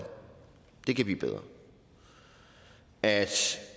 i kan blive bedre at